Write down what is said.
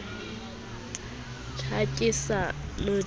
ha ke sa notlela o